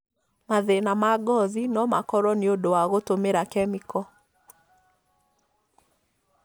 Mathĩna ma ngothi no makorwo nĩ ũndũ wa gũtũmĩra kemiko.